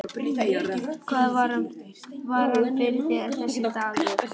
Hvað var hann fyrir þér, þessi dagur.